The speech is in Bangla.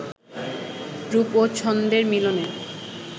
রূপ ও ছন্দের মিলনে